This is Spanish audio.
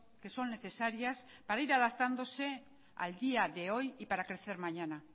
que son necesarias para ir adaptándose al día de hoy y para crecer mañana